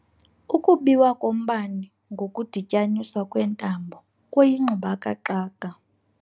Ukubiwa kombane ngokudityaniswa kweentambo kuyingxubakaxaka.